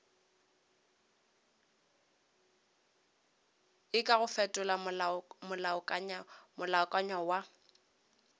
e kago fetola molaokakanywa wa